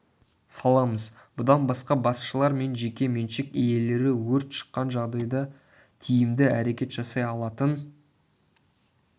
саламыз бұдан басқа басшылар мен жеке меншік иелері өрт шыққан жағдайда тиімді әрекет жасай алатын